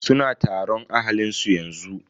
Suna taron ahalin su yanzu.